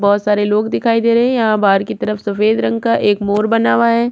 बहोत सारे लोग दीखाई दे रहे है यहाँ बाहर की तरफ सफेद रंग का एक मोर बना हुआ है |